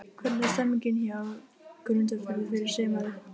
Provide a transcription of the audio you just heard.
Þeir yrðu ekki lengi að snúa við mér baki.